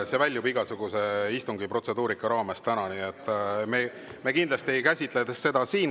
See väljub igasugusest istungi protseduurika raamest täna, nii et me kindlasti ei käsitle seda siin.